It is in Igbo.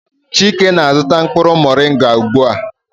Chike na-azụta mkpụrụ moringa ugbu a.